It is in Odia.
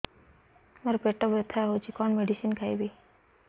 ମୋର ପେଟ ବ୍ୟଥା ହଉଚି କଣ ମେଡିସିନ ଖାଇବି